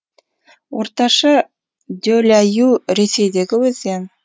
орташа деля ю ресейдегі өзен